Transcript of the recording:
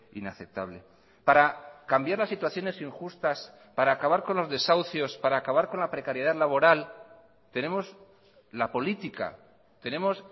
inaceptable para cambiar las situaciones injustas para acabar con los desahucios para acabar con la precariedad laboral tenemos la política tenemos